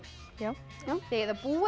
já þið eigið að búa